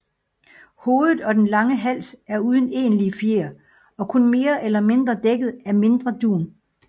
Hovedet og den lange hals er uden egentlige fjer og kun mere eller mindre dækket af mindre dun